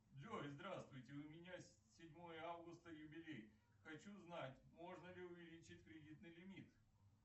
джой здравствуйте у меня седьмое августа юбилей хочу знать можно ли увеличить кредитный лимит